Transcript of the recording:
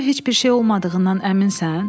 Sənə heç bir şey olmadığından əminsən?”